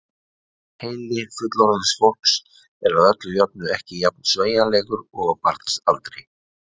Heili fullorðins fólks er að öllu jöfnu ekki jafn sveigjanlegur og á barns aldri.